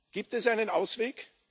Gibt es einen Ausweg?